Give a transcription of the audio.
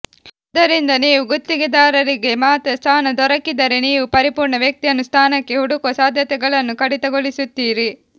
ಆದ್ದರಿಂದ ನೀವು ಗುತ್ತಿಗೆದಾರರಿಗೆ ಮಾತ್ರ ಸ್ಥಾನ ದೊರಕಿದರೆ ನೀವು ಪರಿಪೂರ್ಣ ವ್ಯಕ್ತಿಯನ್ನು ಸ್ಥಾನಕ್ಕೆ ಹುಡುಕುವ ಸಾಧ್ಯತೆಗಳನ್ನು ಕಡಿತಗೊಳಿಸುತ್ತೀರಿ